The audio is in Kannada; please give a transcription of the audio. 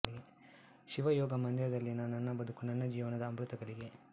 ಶಿವಯೋಗ ಮಂದಿರದಲ್ಲಿನ ನನ್ನ ಬದುಕು ನನ್ನ ಜೀವನದ ಅಮೃತ ಘಳಿಗೆ